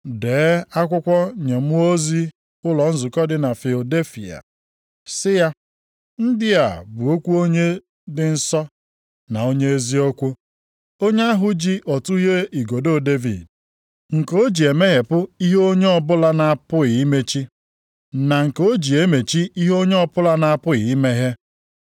“Dee akwụkwọ nye mmụọ ozi ụlọ nzukọ dị na Filadelfia, sị ya: Ndị a bụ okwu onye dị nsọ na onye eziokwu, onye ahụ ji ọtụghe igodo Devid, nke o ji emeghepụ ihe onye ọbụla na-apụghị imechi, na nke o ji emechi ihe onye ọbụla na-apụghị imeghe.